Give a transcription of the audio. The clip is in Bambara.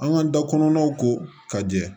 An ka da kɔnɔnaw ko ka jɛ